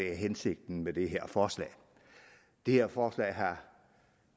er hensigten med det her forslag det her forslag har